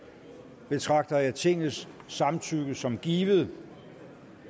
betragter jeg tingets samtykke som givet